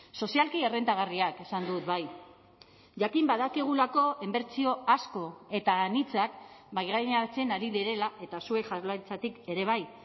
sozialki errentagarriak esan dut bai jakin badakigulako inbertsio asko eta anitzak mahaigaineratzen ari direla eta zuek jaurlaritzatik ere bai